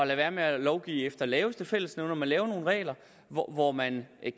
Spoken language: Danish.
være med at lovgive efter laveste fællesnævner men lave nogle regler hvor hvor man